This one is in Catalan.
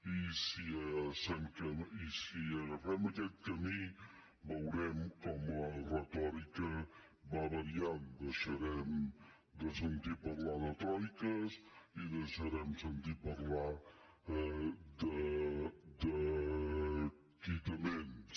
i si agafem aquest camí veurem com la retòrica va variant deixarem de sentir parlar de troiques i deixarem de sentir parlar de quitaments